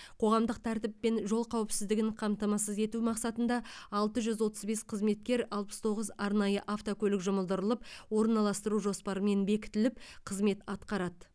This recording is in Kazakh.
қоғамдық тәртіппен жол қауіпсіздігін қамтамасыз ету мақсатында алты жүз отыз бес қызметкер алпыс тоғыз арнайы автокөлік жұмылдырылып орналастыру жоспарымен бекітіліп қызмет атқарады